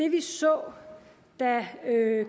det vi så da